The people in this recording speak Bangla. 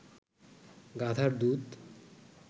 গাধার দুধ